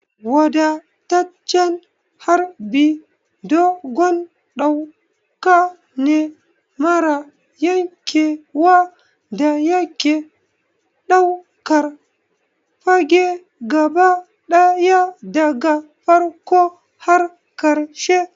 Wadataccen harbi dogon ɗauka ne mara yankewa da yake ɗaukar fage gaba ɗaya daga farkon har ƙarshe.